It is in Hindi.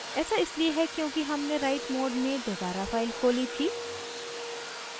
ऐसा इसलिए है क्योंकि हमने write मोड में दोबारा फाइल खोली थी